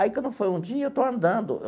Aí, quando foi um dia, eu estou andando.